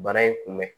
Bana in kunbɛn